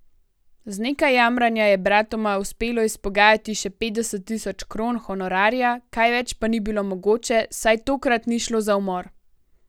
Z nekaj jamranja je bratoma uspelo izpogajati še petdeset tisoč kron honorarja, kaj več pa ni bilo mogoče, saj tokrat ni šlo za umor.